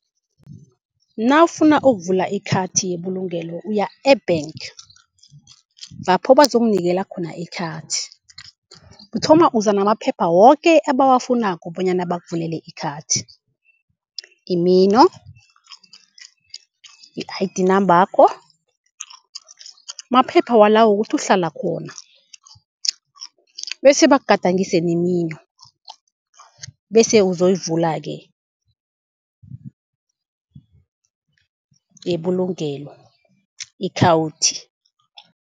Nawufuna ukuvula ikhathi yebulugelo uya e-bank lapho bazokunikela khona ikhathi. Uthoma uza namaphepha woke abawufunako bonyana bakuvulele ikhathi. Imino, i-I_D nambakho, maphepha wala wokuthi uhlala khona bese bakugadangise nemino. Bese uzoyivula-ke yebulugelo ikhawuthi.